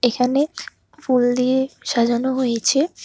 এখানে ফুল দিয়ে সাজানো হয়েছে।